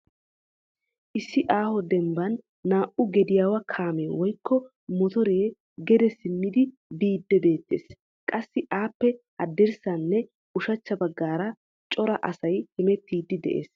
Issi aaho dembban naa"u gediyawa kaame woykko motoree gede simmidi biidi beettees. Qassi appe haddirssanne ushachcha baggaara cora asay hemettidi de'ees.